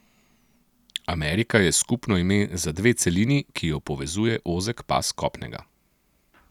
Amerika je skupno ime za dve celini, ki ju povezuje ozek pas kopnega.